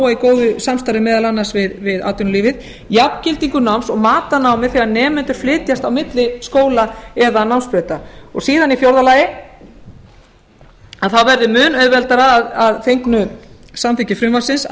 í góðu samstarfi meðal annars við atvinnulífið jafngildingu náms og mat á námi þegar nemendur flytjast á milli skóla eða námsbrauta síðan í fjórða lagi að þá verði mun auðveldara að fengnu samþykki frumvarpsins að